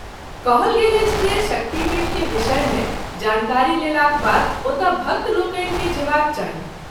कहल गेल अछि जे शक्तिपीठ के विषय मे जानकारी लेलाक बाद ओतय भक्त लोकनि के जेबाक चाही।